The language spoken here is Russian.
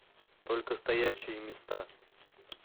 только стоячие места